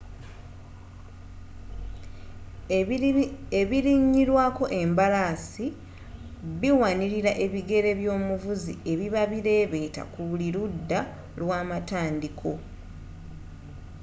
ebirinyirwako embalaasi biwanirira ebigere by'omuvuzi ebiba bireebeeta ku buli ludda lwa amatandiiko